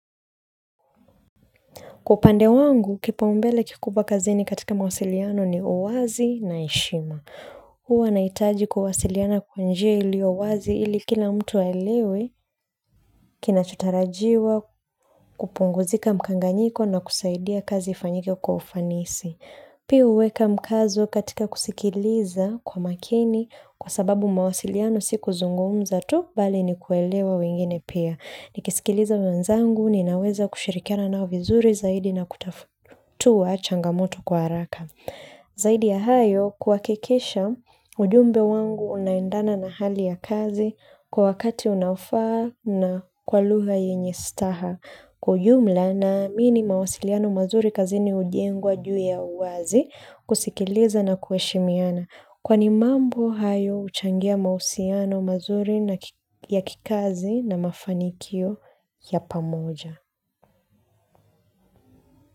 Kwa upande wangu, kipaumbele kikubwa kazini katika mawasiliano ni uwazi na heshima. Huwa nahitaji kuwasiliana kww njia iliyo wazi ili kila mtu aelewe kinachotarajiwa, kupunguzika mchanganyiko na kusaidia kazi ifanyike kwa ufanisi pia huweka mkazo katika kusikiliza kwa makini kwa sababu mawasiliano si kuzungumza tu, bali ni kuelewa wengine pia. Nikisikiliza wenzangu, ninaweza kushirikiana nao vizuri zaidi na kutatua changamoto kwa haraka. Zaidi ya hayo, kuhakikisha ujumbe wangu unaendana na hali ya kazi kwa wakati unaofaa na kwa lugha yenye staha. Kwa ujumla naamini mawasiliano mazuri kazini hujengwa juu ya uwazi kusikiliza na kuheshimiana. Kwani mambo hayo huchangia mahusiano mazuri ya kikazi na mafanikio ya pamoja.